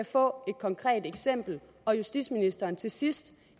få et konkret eksempel og at justitsministeren til sidst